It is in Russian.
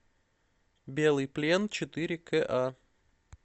белый плен четыре ка